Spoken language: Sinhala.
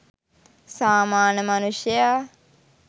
සාමාන්‍ය මනුෂ්‍යයා